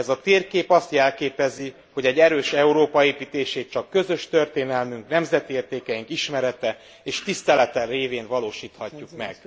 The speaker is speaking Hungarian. Ez a térkép azt jelképezi, hogy egy erős Európa építését csak közös történelmünk, nemzeti értékeink ismerete és tisztelete révén valósíthatjuk meg.